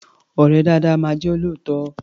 Ọ̀rẹ́ dáadáa máa jẹ́ olóòótọ́.